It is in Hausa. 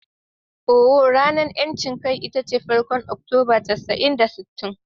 Ohh, ranar 'yancin kai ita ce farkon Oktoba casa'in da sittin.